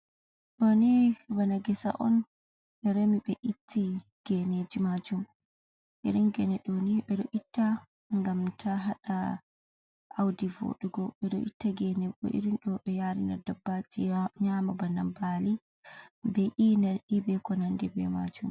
Ɗooni bana ngesa on, ɓe remi ɓe itti geeneji majum, irin geene ɗoni beɗo itta ngam ta haɗa awdi voɗugo, beɗo itta geeneji bo irin ɗo ngam yarina dabbaji nyama bana baali, be’i, nai, beko nandi bee majum.